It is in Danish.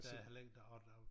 Og der heller ikke og der jo